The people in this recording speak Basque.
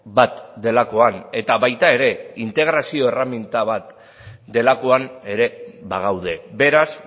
bat delakoan eta baita ere integrazio erreminta bat delakoan ere bagaude beraz